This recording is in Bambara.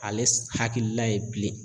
Ale hakilila ye bilen.